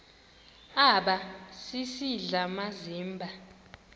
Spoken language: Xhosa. aba sisidl amazimba